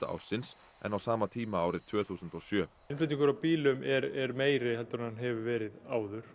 ársins en á sama tíma árið tvö þúsund og sjö innflutningur á bílum er meiri en hann hefur verið áður